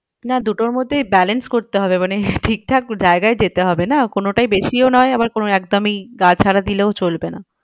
না দুটোর মধ্যেই balance করতে হবে মানে ঠিকঠাক জায়গায় যেতে হবে না কোনোটায় বেশিও নয় আবার কোনো একদমই গা ছাড়া দিলেও চলবে না।